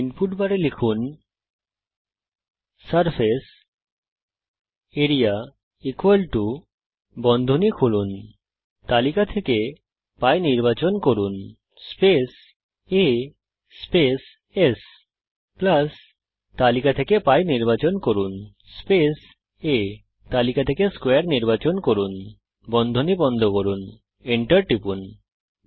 input বারে লিখুন area π a s π আ² সারফেস আরিয়া বন্ধনী খুলুনতালিকা থেকে π নির্বাচন করুন space a space s plus তালিকা থেকে π নির্বাচন করুন স্পেস a তালিকা থেকে স্কোয়ারে নির্বাচন করুন বন্ধনী বন্ধ করুন এন্টার টিপুন